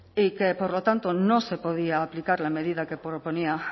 y que por lo tanto no se podía aplicar la medida que proponía